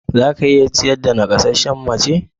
Za ka iya ciyar da naƙasasshiyar mace.